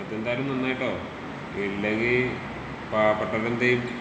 അതെന്തായാലും നന്നായീട്ടോ ഇല്ലെങ്കി പാവപ്പെട്ടവരെന്തീയും.